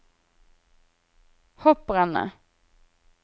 hopprennet